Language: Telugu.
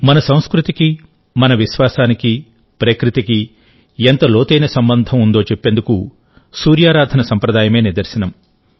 మన సంస్కృతికి మన విశ్వాసానికి ప్రకృతికి ఎంత లోతైన సంబంధం ఉందో చెప్పేందుకు సూర్యారాధన సంప్రదాయమే నిదర్శనం